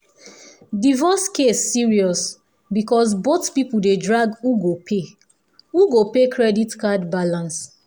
divorce case serious because both people dey drag who go pay who go pay credit card balance.